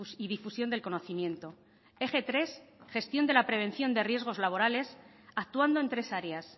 y difusión del conocimiento eje tres gestión de la prevención de riesgos laborales actuando en tres áreas